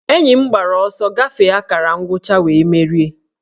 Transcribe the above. Enyi m gbara ọsọ gafee akara ngwụcha wee merie